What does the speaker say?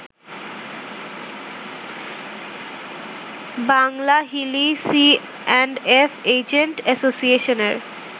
Banglahili C and F agent অ্যাসোসিয়েশনের